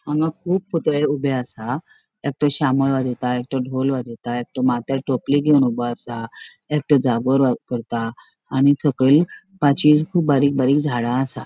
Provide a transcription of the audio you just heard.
आंग कुब ऊबे असा एकटो शामळ एकटो ढोल वाजेता एकटो माथ्यार टोपली घेवन ऊबो असा एकटो करता आणि सकयल पाचवी बारीक बारीक झाड़ा असा.